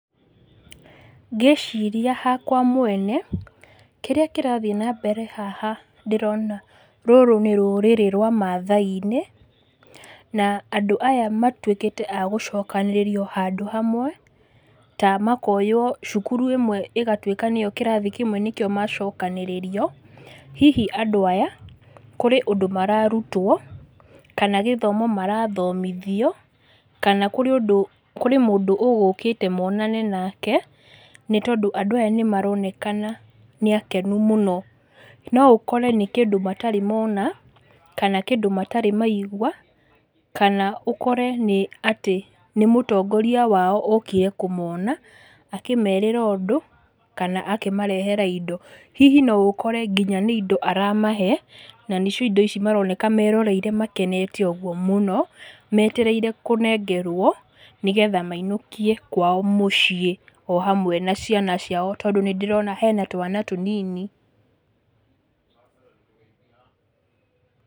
Ngĩciria hakwa mwene, kĩrĩa kĩrathĩi nambere haha ndĩrona, rũrũ nĩ rũrĩrĩ rwa Maathai-inĩ, na andũ aya matwĩkĩte a gũcokanĩrĩrio handũ hamwe, ta makoywo cukuru ĩmwe ĩgatwĩka nĩyo kĩrathi kĩmwe kĩracokanĩrĩrio, hihi, andũ aya, kũrĩ ũndũ mararutwo, kana gĩthomo marathomithio, kana kũrĩ ũndũ kũrĩ mũndũ ũgũkĩte monane nake, nĩtondũ andũ aya nĩmaronekana nĩ akenu mũno. No ũkore nĩ kĩndũ matarĩ mona, kana kĩndũ matarĩ maigua, kana ũkore nĩ atĩ, nĩ mũtongoria wao okire kũmona, akĩmerĩra ũndũ, kana akĩmarehera indo, hihi noũkore nginya nĩ indo aramahe, na nĩcio indo ici maroneka meroreire makenete ũguo mũno, metereire kũnegerwo nĩguo mainũkie kwao mũciĩ, o hamwe na ciana ciao tondũ nĩndĩrona hena twana tũnini